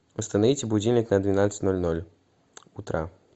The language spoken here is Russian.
установите будильник на двенадцать ноль ноль утра